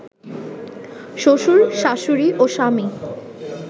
শ্বশুর, শাশুড়ি ও স্বামী